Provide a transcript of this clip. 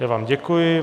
Já vám děkuji.